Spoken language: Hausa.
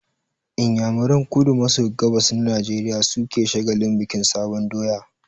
Inyamuran kudu maso gabas na Najeriya su ke shagalin bikin sabon doya